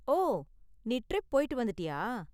ஓ, நீ ட்ரிப் போய்ட்டு வந்துட்டியா?